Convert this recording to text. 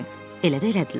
Elə də elədilər.